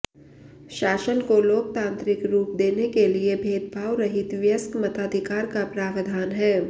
शासन को लोकतान्त्रिक रूप देने के लिये भेदभाव रहित वयस्क मताधिकार का प्रावधान है